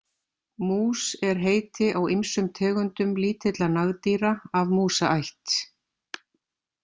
Mús er heiti á ýmsum tegundum lítilla nagdýra af músaætt.